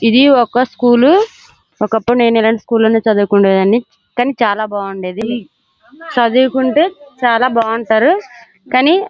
ఇది ఒక స్కూల్ ఒక్కప్పుడు ఇలాటి స్కూల్ లోనే చదువుకోడానికి కానీ చాలా బాగుండేది చుదువుకుంటే బాగుండేది చాలా బాగుంటారుకానీ.